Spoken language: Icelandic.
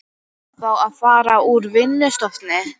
Á þá að fara úr vinnustofunni.